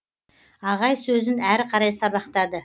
ағай сөзін әрі қарай сабақтады